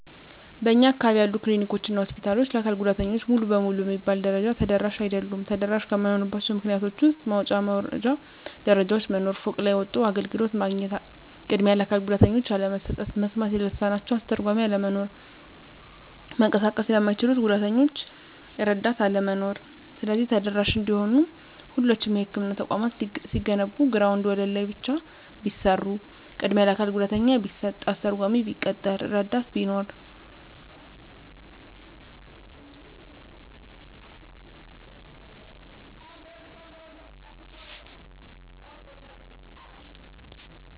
በእኛ አካባቢ ያሉ ክሊኒኮች እና ሆስፒታሎች ለአካል ጉዳተኞች ሙሉ በሙሉ በሚባል ደረጃ ተደራሽ አይደሉም። ተደራሽ ከማይሆኑባቸው ምክንያቶች ውስጥ መውጫ መውረጃ ደረጃዎች መኖር፤ ፎቅ ላይ ወጥቶ አገልግሎት ማግኘት፤ ቅድሚያ ለአካል ጉዳተኞች አለመስጠት፤ መስማት ለተሳናቸው አስተርጓሚ አለመኖር፤ መንቀሳቀስ ለማይችሉት ጉዳተኞች እረዳት አለመኖር። ስለዚህ ተደራሽ እንዲሆኑ ሁሎቹም የህክምና ተቋማት ሲገነቡ ግራውንድ ወለል ላይ ብቻ ቢሰሩ፤ ቅድሚያ ለአካል ጉዳተኛ ቢሰጥ፤ አስተርጓሚ ቢቀጠር፤ እረዳት ቢኖር።